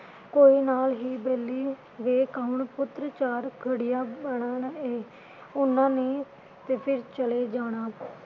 ਕੋਈ ਨਾਲ ਹੀ ਵੇਹਲੀ ਵੇਖ ਕੌਣ ਪੁੱਤਰ ਚਾਰ ਘੜੀਆਂ ਬਹਿਣਾ ਇਹ ਉਨ੍ਹਾਂ ਨੇ ਤੇ ਫਿਰ ਚਲੇ ਜਾਣਾ